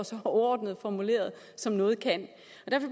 så overordnet formuleret som noget kan